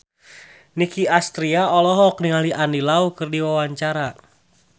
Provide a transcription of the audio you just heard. Nicky Astria olohok ningali Andy Lau keur diwawancara